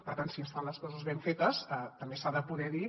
per tant si es fan les coses ben fetes també s’ha de poder dir